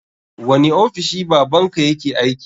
Wani ofishi baban ka yake aiki?